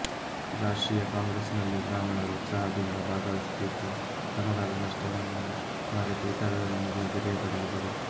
ರಾಷ್ಟ್ರೀಯ ಕಾಂಗ್ರೆಸ್ನಲ್ಲಿ ಬ್ರಾಹ್ಮಣರು ಉತ್ಸಾಹದಿಂದ ಭಾಗವಹಿಸುತ್ತಿದ್ದು ತಮಗಾದ ನಷ್ಟವನ್ನು ಮರೆತು ಇತರರೊಂದಿಗೆ ಬೆರೆಯತೊಡಗಿದರು